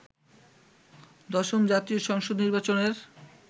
দশম জাতীয় সংসদ নির্বাচনের